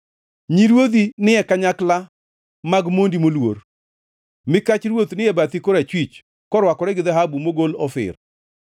Nyi ruodhi ni e kanyakla mag mondi moluor; mikach ruoth ni e bathi korachwich korwakore gi dhahabu mogol Ofir.